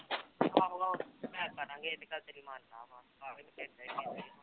ਆਹੋ ਆਹੋ ਸਮਝਾਇਆ ਕਰਾਂਗੇ ਇਹ ਤਾਂ ਗੱਲ ਤੇਰੀ ਮੰਨਦਾ ਵਾਂ